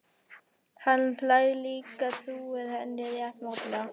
Hann hlær líka, trúir henni rétt mátulega.